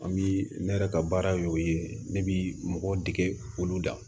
An bi ne yɛrɛ ka baara ye o ye ne bi mɔgɔw dege olu da